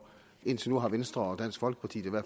indtil nu har venstre og dansk folkeparti